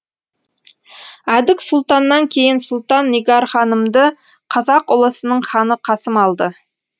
әдік сұлтаннан кейін сұлтан нигар ханымды қазақ ұлысының ханы қасым алды